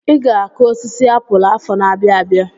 I ga-akụ osisi apụl afọ n'abia abịa.